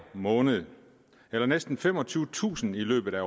måned det er næsten femogtyvetusind i løbet af